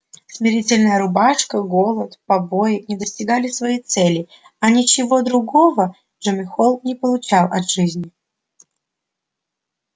смирительная рубашка голод побои не достигали своей цели а ничего другого джим холл не получал от жизни